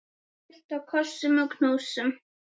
Fullt af kossum og knúsum.